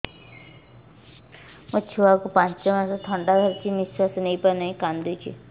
ମୋ ଛୁଆକୁ ପାଞ୍ଚ ମାସ ଥଣ୍ଡା ଧରିଛି ନିଶ୍ୱାସ ନେଇ ପାରୁ ନାହିଁ କାଂଦୁଛି